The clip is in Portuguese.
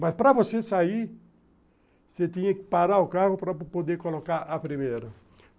Mas para você sair, você tinha que parar o carro para poder colocar a primeira.